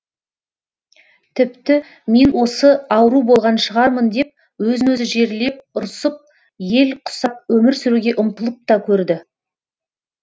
тіпті мен осы ауру болған шығармын деп өзін өзі жерлеп ұрсып ел құсап өмір сүруге ұмтылып та көрді